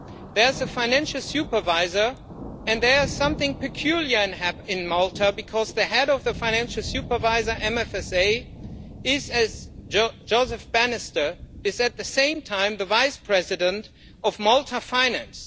There is a financial supervisor and there is something peculiar in Malta because the head of the financial supervisor MFSA, Joseph Bannister, is at the same time the Vice President of Malta Finance.